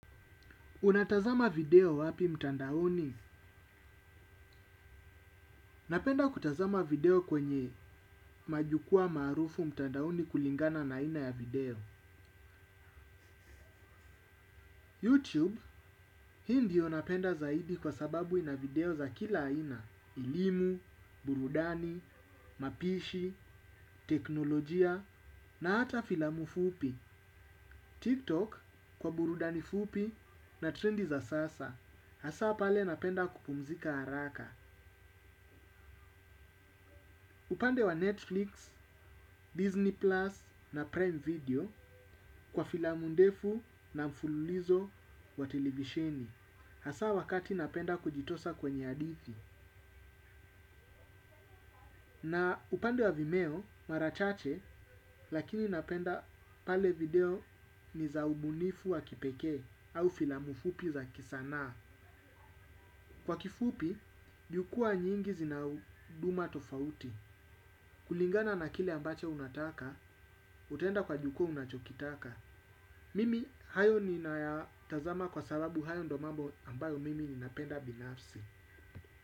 Unatazama video wapi mtandaoni? Napenda kutazama video kwenye majukwaa maarufu mtandaoni kulingana na aina ya video. YouTube hii ndio napenda zaidi kwa sababu ina video za kila aina. Elimu, burudani, mapishi, teknolojia na hata filamu fupi. TikTok kwa burudani fupi na trendi za sasa. Hasaa pale napenda kupumzika haraka. Upande wa Netflix, Disney Plus na Prime Video kwa filamu ndefu na mfululizo wa televisheni. Hasaa wakati napenda kujitosa kwenye hadithi. Na upande wa vimeo mara chache lakini napenda pale video ni za ubunifu wa kipekee au filamu fupi za kisanaa. Kwa kifupi, jukwaa nyingi zina uduma tofauti. Kulingana na kile ambache unataka, utaenda kwa jukwaa unachokitaka. Mimi, hayo ninayatazama kwa sababu hayo ndo mambo ambayo mimi ninapenda binafsi.